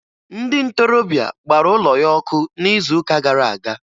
Ndị ntorobịa gbara ụlọ ya ọkụ n'izuụka gara aga